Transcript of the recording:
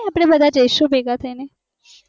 આપણે બધા જઈશુ ભેગા થઈને